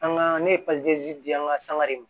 An ka ne ye di an ka sangare ma